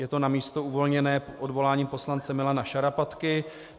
Je to na místo uvolněné odvoláním poslance Milana Šarapatky.